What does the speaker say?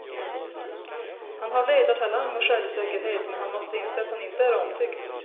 Han har ledartalang och självsäkerhet, men han måste inse att han inte är omtyckt.